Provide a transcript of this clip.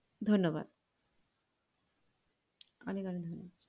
ধন্যবাদ